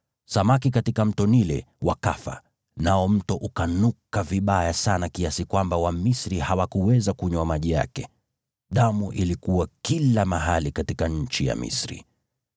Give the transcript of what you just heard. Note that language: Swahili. Samaki katika Mto Naili wakafa, nao mto ukanuka vibaya sana kiasi kwamba Wamisri hawakuweza kunywa maji yake. Damu ilikuwa kila mahali katika nchi ya Misri.